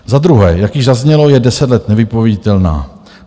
Za druhé, jak již zaznělo, je 10 let nevypověditelná.